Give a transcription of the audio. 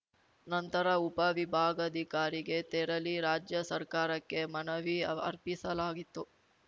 ನಂತರ ಉಪ ವಿಭಾಗಾಧಿಕಾರಿಗೆ ತೆರಳಿ ರಾಜ್ಯ ಸರ್ಕಾರಕ್ಕೆ ಮನವಿ ಅವ್ ಅರ್ಪಿಸಲಾಯಿತು